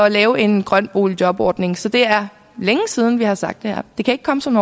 at lave en grøn boligjobordning så det er længe siden vi har sagt det her det kan ikke komme som